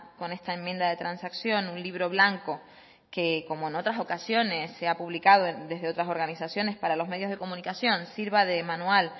con esta enmienda de transacción un libro blanco que como en otras ocasiones se ha publicado desde otras organizaciones para los medios de comunicación sirva de manual